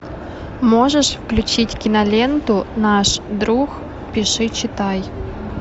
можешь включить киноленту наш друг пиши читай